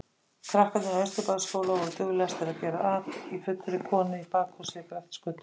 Krakkarnir í Austurbæjarskóla voru duglegastir að gera at í fullri konu í bakhúsi við Grettisgötu.